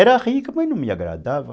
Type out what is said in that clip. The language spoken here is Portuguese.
Era rica, mas não me agradava.